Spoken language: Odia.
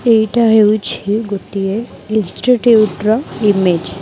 ଏଇଟା ହେଉଛି ଗୋଟିଏ ଇନଷ୍ଟିଚ୍ୟୁଟ ର ଇମେଜ ।